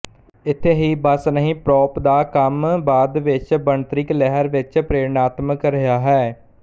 ਇੱਥੇ ਹੀ ਬੱਸ ਨਹੀਂ ਪ੍ਰਾੱਪ ਦਾ ਕੰਮ ਬਾਦ ਵਿੱਚ ਬਣਤਰਿਕ ਲਹਿਰ ਵਿੱਚ ਪ੍ਰੇਰਣਾਤਮਿਕ ਰਿਹਾ ਹੈ